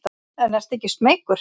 En ertu ekki smeykur?